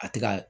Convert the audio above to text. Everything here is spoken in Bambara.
A tɛ ka